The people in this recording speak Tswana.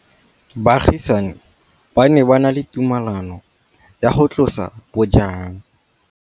Baagisani ba ne ba na le tumalanô ya go tlosa bojang.